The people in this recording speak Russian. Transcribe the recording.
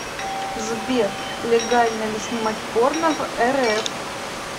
сбер легально ли снимать порно в рф